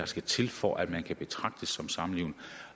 skal til for at man kan betragtes som samlevende